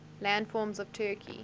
landforms of turkey